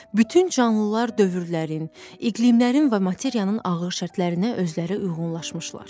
Bütün canlılar dövrlərin, iqlimlərin və materiyanın ağır şərtlərinə özləri uyğunlaşmışlar.